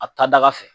A ta daga fɛ